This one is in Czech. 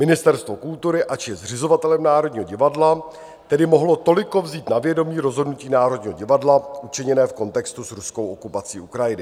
Ministerstvo kultury, ač je zřizovatelem Národního divadla, tedy mohlo toliko vzít na vědomí rozhodnutí Národního divadla učiněné v kontextu s ruskou okupací Ukrajiny.